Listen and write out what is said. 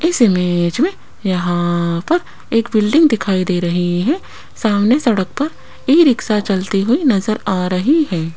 इस इमेज में यहां पर एक बिल्डिंग दिखाई दे रही है सामने सड़क पर ई रिक्शा चलती हुई नजर आ रही है।